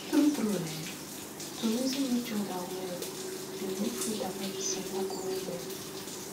tru tru[um]to reason each other well dey make faith and medicine work well well